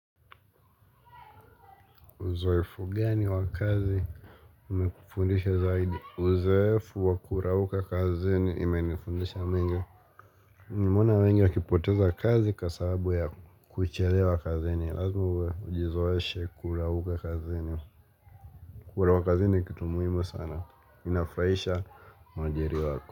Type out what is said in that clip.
Uzoefu gani wa kazi Umekufundisha zaidi Uzoefu wa kurauka kazini imenifundisha mengi Nimeona wengi wakipoteza kazi kwasababu ya kuchelewa kazini lazima uwe ujizoeshe kurauka kazini Kurauka kazini ni kitumuhimucsana inafurahisha mwajiri wako.